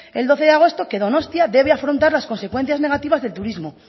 el doce de agosto que donostia debe afrontar las consecuencias negativas del turismo